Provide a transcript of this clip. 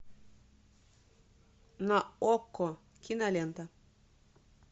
на окко кинолента